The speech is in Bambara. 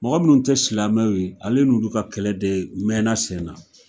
Mɔgɔ minnu te silamɛw ye ale n'olu ka kɛlɛ de mɛna sen na.